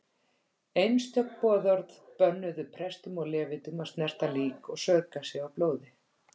Einstök boðorð bönnuðu prestum og levítum að snerta lík og saurga sig á blóði.